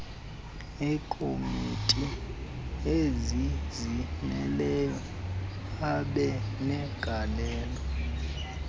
eekomiti ezizimeleyo abenegalelo